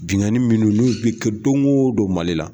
Binganin minnu n'u bɛ kɛ don ko don Mali la.